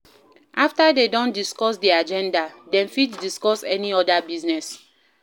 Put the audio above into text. After dem don discuss di agenda dem fit discuss any other business